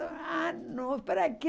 Ah, não, para quê?